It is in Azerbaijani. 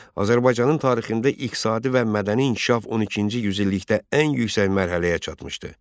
Azərbaycanın tarixində iqtisadi və mədəni inkişaf 12-ci yüzillikdə ən yüksək mərhələyə çatmışdı.